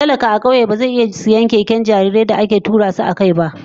Talaka a kauye ba zai iya sayen 'yan keken da ake sanya jarirai ba a tura su akai.